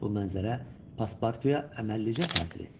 Bu mənzərə paspartuya əməlləlicə təsir etdi.